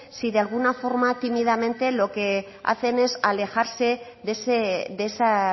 si de alguna forma tímidamente lo que hacen es alejarse de esa